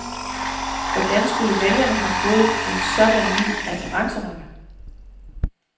Hvordan skulle vælgerne have fået en sådan ny referenceramme?